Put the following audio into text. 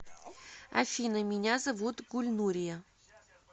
афина меня зовут гульнурия